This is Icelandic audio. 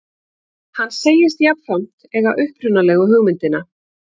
Hann segist jafnframt eiga upprunalegu hugmyndina